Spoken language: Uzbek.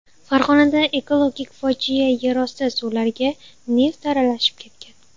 Farg‘onada ekologik fojia yerosti suvlariga neft aralashib ketgan.